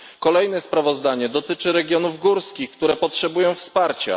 Kolejne sprawozdanie dotyczy regionów górskich, które potrzebują wsparcia.